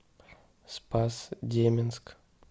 спас деменск